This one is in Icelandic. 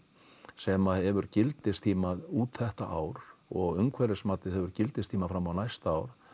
sem hefur gildistíma út þetta ár og umhverfismatið hefur gildistíma fram á næsta ár